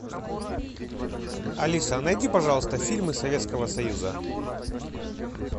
алиса найди пожалуйста фильмы советского союза